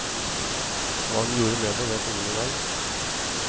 Hva hun gjorde med det, vet ingen i dag.